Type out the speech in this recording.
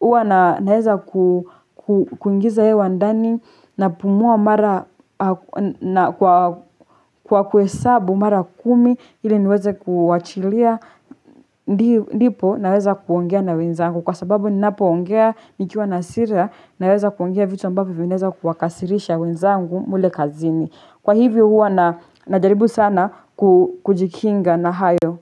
huwa naeza kuingiza hewa ndani, napumua mara kwa kuhesabu mara kumi ili niweze kuachilia ndipo naweza kuongea na wenzangu kwa sababu ninapoongea nikiwa nasira naweza kuongea vitu ambapo vinaeza kuwakasirisha wenzangu mle kazini kwa hivyo huwa na najaribu sana kujikinga na hayo.